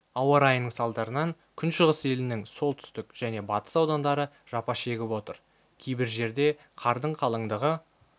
ауа райының салдарынан күншығыс елінің солтүстік және батыс аудандары жапа шегіп отыр кейбір жерде қардың қалыңдығы